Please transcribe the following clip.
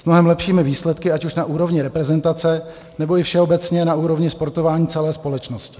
S mnohem lepšími výsledky, ať už na úrovni reprezentace, nebo i všeobecně na úrovni sportování celé společnosti.